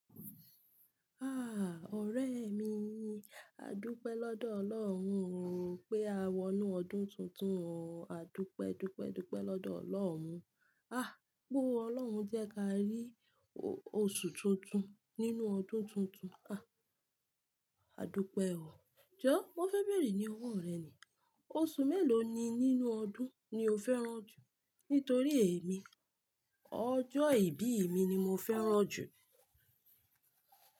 Ah! Ọ̀rẹ́ mi, àdúkẹ́ lọ́dọ̀ Ọlọ́run o pé a wọnú ọdún tuntun o. Àdúpẹ́, dúpẹ́, dúpẹ́ lọ́dọ̀ Ọlọ́run. Ah! Pe ọlọ́run jẹ́ ká rí o-oṣù tuntun nínú ọdún tuntun. Ah! Àdúkẹ́ o. Jọ̀, mo fẹ́ bẹ̀rẹ̀ ní ọwọ́ rẹ ni. Oṣù mélòó ni nínú ọdún ni o fẹ́ràn jù? Nítorí èmi, ọjọ́ ìbí mi ni mo fẹ́ràn jù.